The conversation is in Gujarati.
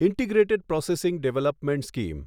integrated processing development scheme